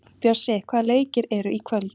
Bjössi, hvaða leikir eru í kvöld?